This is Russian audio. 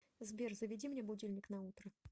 сбер заведи мне будильник на утро